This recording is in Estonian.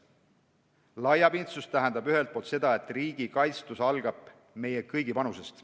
Laiapindsus tähendab ühelt poolt seda, et riigi kaitstus algab meie kõigi panusest.